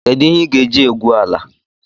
Kedụ ihe ị ga-eji egwu ala?